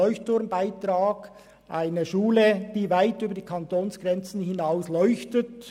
Es ist eine Schule, die weit über die Kantonsgrenzen hinaus leuchtet.